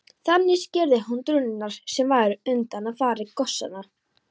Þannig skýrði hann drunurnar sem væru undanfari gosanna.